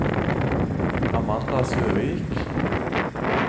Amanda Søvik